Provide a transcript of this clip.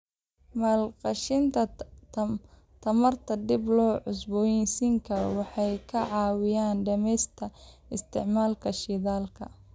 Maalgashiga tamarta dib loo cusboonaysiin karo wuxuu ka caawiyaa dhimista isticmaalka shidaalka.